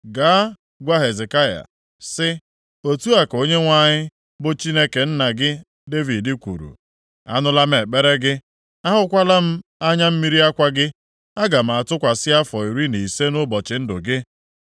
“Gaa, gwa Hezekaya, sị ‘Otu a ka Onyenwe anyị, bụ Chineke nna gị Devid kwuru, anụla m ekpere gị, ahụkwala m anya mmiri akwa gị. Aga m atụkwasị afọ iri na ise nʼụbọchị ndụ gị.